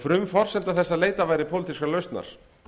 frumforsenda þess að leitað væri pólitískrar lausnar